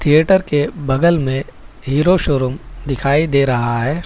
Theatre के बगल में हीरो शोरूम दिखाई दे रहा है।